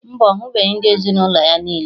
Mba, ọ hụbeghị ndị ezinụlọ ya niile